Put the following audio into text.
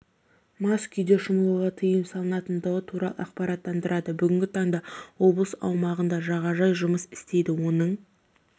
мас күйде шомылуға тыйым салынатындығы туралы ақпараттандырады бүгінгі таңда облыс аумағында жағажай жұмыс істейді оның